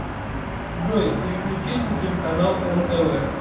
джой переключить на телеканал нтв